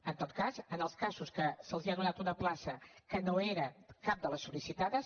en tot cas en els casos que se’ls ha donat una plaça que no era cap de les sollicitades